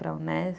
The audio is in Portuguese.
Para a Unesp.